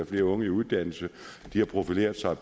flere unge i uddannelse de har profileret sig